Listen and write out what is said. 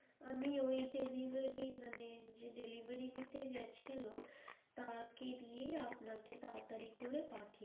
আমি ওই delivery মানে যে delivery দিতে গেছিলো তাকে দিয়ে আপনাকে তাড়াতাড়ি করে পাঠিয়ে